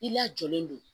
I lajɔlen don